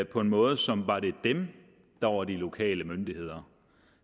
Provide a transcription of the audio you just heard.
på en måde som var det dem der var de lokale myndigheder